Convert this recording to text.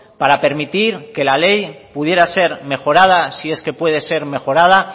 para permitir que la ley pudiera ser mejorada si es que puede ser mejorada